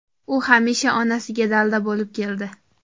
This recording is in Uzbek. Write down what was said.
U hamisha onasiga dalda bo‘lib keldi.